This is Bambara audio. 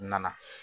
Na